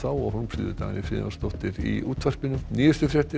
og Hólmfríður Dagný Friðjónsdóttir í útvarpinu nýjustu fréttir